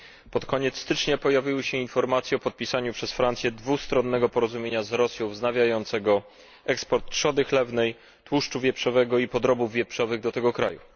Pod koniec stycznia pojawiły się informacje o podpisaniu przez Francję dwustronnego porozumienia z Rosją wznawiającego eksport trzody chlewnej, tłuszczu wieprzowego oraz podrobów wieprzowych do tego kraju.